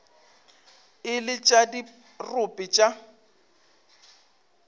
e le tša dirope tša